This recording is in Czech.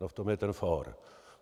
A v tom je ten fór.